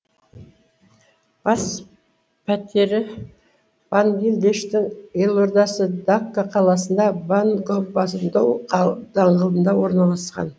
бас пәтері бангелдештің елордасы дакка қаласында бонгобонду даңғылында орналасқан